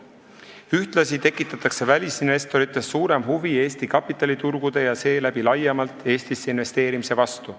Ühtlasi tekitatakse välisinvestorites suurem huvi Eesti kapitaliturgude ja seeläbi laiemalt Eestisse investeerimise vastu.